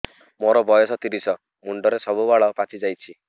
ମୋର ବୟସ ତିରିଶ ମୁଣ୍ଡରେ ସବୁ ବାଳ ପାଚିଯାଇଛି